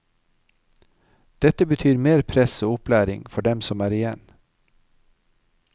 Dette betyr mer press og opplæring for dem som er igjen.